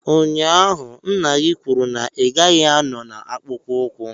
Ụnyaahụ, nna gị kwuru na ị gaghị anọ na akpụkpọ ụkwụ.